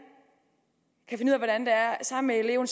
sammen med eleven